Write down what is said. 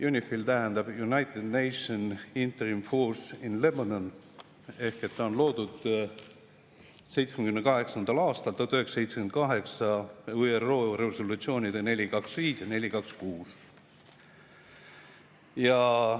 UNIFIL tähendab United Nation Interim Force in Lebanon, see on loodud 1978. aastal ÜRO resolutsioonidega 425 ja 426.